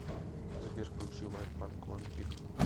сбер включи вайт панк вампир